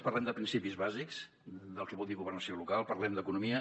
parlem de principis bàsics del que vol dir governació local parlem d’economia